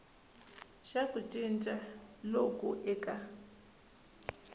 xa ku cinca loku eka